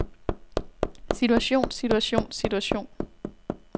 situation situation situation